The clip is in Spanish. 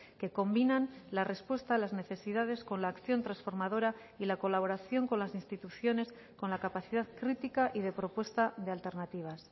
que combinan la respuesta a las necesidades con la acción transformadora y la colaboración con las instituciones con la capacidad crítica y de propuesta de alternativas